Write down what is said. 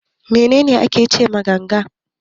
Menene ake ce ma ganga?